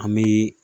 An bɛ